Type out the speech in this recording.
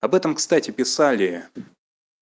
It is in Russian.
об этом кстати писали